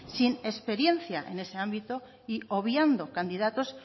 sin experiencia en ese ámbito y obviando candidatos